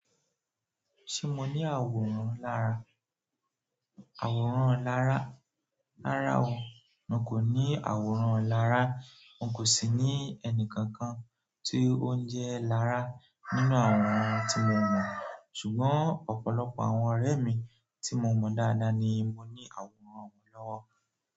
Ṣé mo ní àwòrán lára? Àwòrán lára, lára wo? Mo kò ní àwòrán lára, mo kò sì ní ẹni kankan tí ó ń jẹ́ lára nínú àwọn tí mo mọ̀, ṣùgbọ́n ọ̀pọ̀lọpọ̀ àwọn ọ̀rẹ́ mi tí mo mọ̀ dáadáa ni mo ní àwòrán wọn lọ́wọ́.